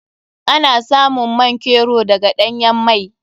Ana samun man kero daga ɗanyan mai.